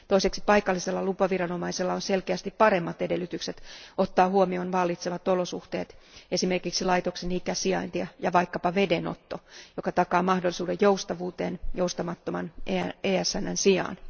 Toiseksi paikallisella lupaviranomaisella on selkeästi paremmat edellytykset ottaa huomioon vallitsevat olosuhteet, esimerkiksi laitoksen ikä, sijainti ja vaikkapa vedenotto, joka takaa mahdollisuuden joustavuuteen joustamattoman ESNn sijaan.